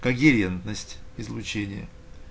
когерентность излучения